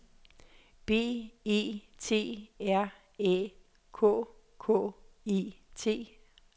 B E T R Æ K K E T